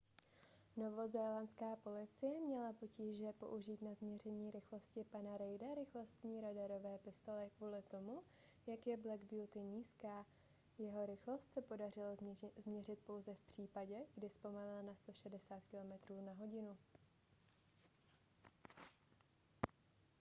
novozélandská policie měla potíže použít na změření rychlosti pana reida rychlostní radarové pistole kvůli tomu jak je black beauty nízká. jeho rychlost se podařilo změřit pouze v případě kdy zpomalil na 160km/h